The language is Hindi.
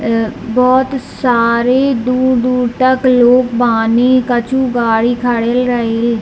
अअ बहुत सारे दूर-दूर तक लोग बानी कछु गाड़ी खड़ेल रहील।